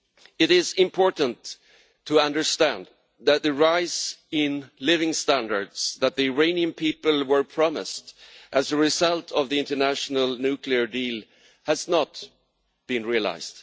It is important to understand that the rise in living standards that the Iranian people were promised as a result of the international nuclear deal has not been realised.